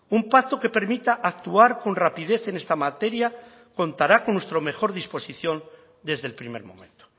un pacto que permita actuar con rapidez en esta materia contará con nuestra mejor disposición desde el primer momento